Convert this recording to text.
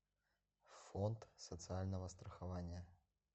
фонд социального страхования